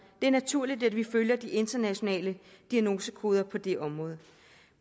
det er naturligt at vi følger de internationale diagnosekoder på det område